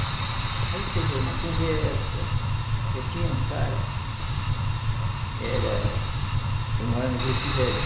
Aí você vê uma conversa. Eh tinha um cara Era, ele morava no Juruti Velho.